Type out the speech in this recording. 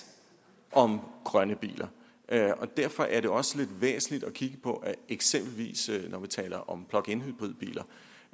om grønne biler og derfor er det også lidt væsentligt at kigge på at det eksempelvis når vi taler om plugin hybridbiler